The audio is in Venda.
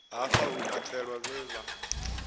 hafha hu katelwa vhe vha